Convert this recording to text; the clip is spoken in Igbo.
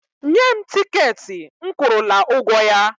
Nye m tikeetị m kwụrụla ụgwọ ya!